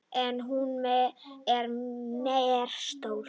En hún er mér stór.